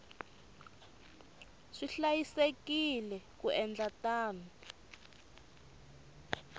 swi hlayisekile ku endla tano